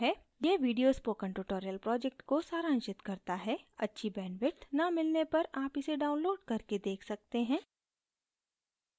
यह video spoken tutorial project को सारांशित करता है अच्छी bandwidth न मिलने पर आप इसे download करके देख सकते हैं